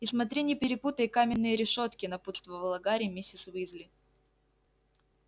и смотри не перепутай каменные решётки напутствовала гарри миссис уизли